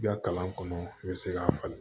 I ka kalan kɔnɔ n bɛ se k'a falen